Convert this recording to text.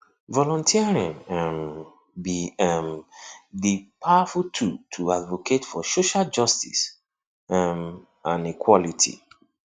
volunteering um be um di powerful tool to advocate for social justice um and equality